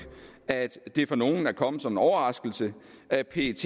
at det for nogle er kommet som en overraskelse at pet